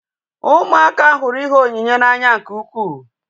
Ụmụaka hụrụ ihe onyinye n'anya nke ukwuu